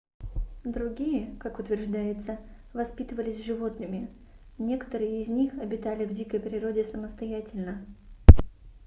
другие как утверждается воспитывались животными некоторые из них обитали в дикой природе самостоятельно